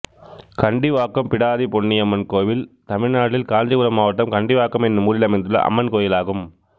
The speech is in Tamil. கண்டிவாக்கம் பிடாரி பொன்னியம்மன் கோயில் தமிழ்நாட்டில் காஞ்சிபுரம் மாவட்டம் கண்டிவாக்கம் என்னும் ஊரில் அமைந்துள்ள அம்மன் கோயிலாகும்